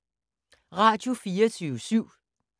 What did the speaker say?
Radio24syv